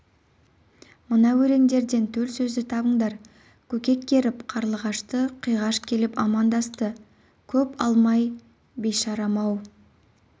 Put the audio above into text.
мына өлеңдерден төл сөзді табыңдар көкек көріп қарлығашты қиғаш келіп амандасты көп алмай бейшарам ау